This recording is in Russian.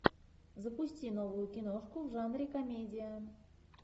запусти новую киношку в жанре комедия